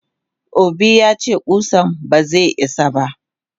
Obi yace kusan baze isa ba.